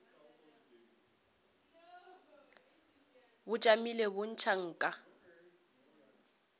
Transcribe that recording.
bo tšamile bo ntšha nka